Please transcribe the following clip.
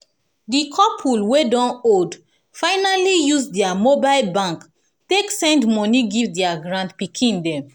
di couple wey don old finally use dia mobile app take send moni give dia granpikin dem